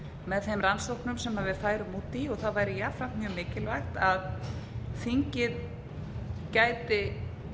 með þeim rannsóknum sem við færum út í og það væri jafnframt mjög mikilvægt að þingið gæti